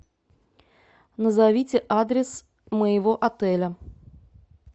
назовите адрес моего отеля